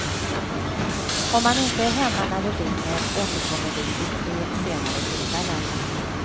Om man inte är hemma när vi ringer återkommer vi vid tre senare tillfällen.